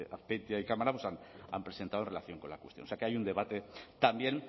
azpeitia y cámara han presentado en relación con la cuestión o sea que hay un debate también